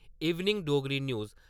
evening Dogri news